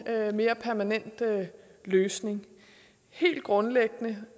mere permanent løsning helt grundlæggende